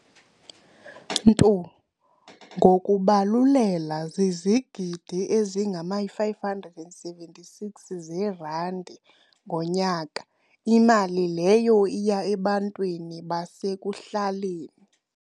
"ntu ngokubabulela zizigidi ezingama-576 zerandi ngonyaka, imali leyo iya ebantwini basekuhlaleni."